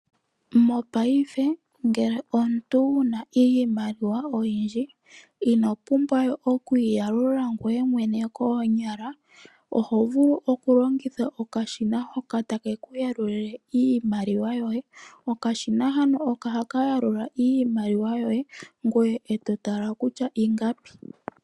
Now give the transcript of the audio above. Mopaife, ngele omuntu owuna iimaliwa oyindji, ino pumbwawe okuyi yalula ngoye mwene koonyala, oho vulu oku longitha okashina hoka take kuya lulile iimaliwa yoye, okashina ohaka yalula iimaliwa yoye, ngoye eto tala kutya ingapi.